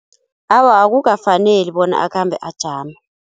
Awa akukafaneli bona akhambe ajama.